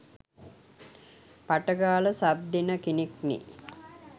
පට ගාල සබ් දෙන කෙනෙක්නෙ.